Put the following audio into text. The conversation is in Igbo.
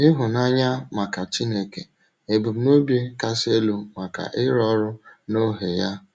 Ịhụ́nanya maka Chínèké — Ebumnòbi Kasị Elú maka Ịrụ Ọrụ N’Ọhè Ya